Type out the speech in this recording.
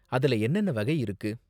அதுல என்னென்ன வகை இருக்கு?